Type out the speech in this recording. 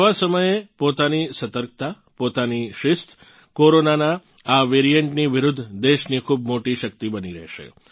આવાં સમયે પોતાની સતર્કતા પોતાની શિસ્ત કોરોનાનાં આ વેરિએન્ટની વિરુધ્ધ દેશની ખૂબ મોટી શક્તિ બની રહેશે